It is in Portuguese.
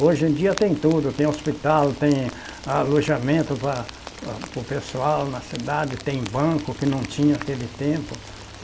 Hoje em dia tem tudo, tem hospital, tem alojamento pa para o pessoal na cidade, tem banco que não tinha aquele tempo.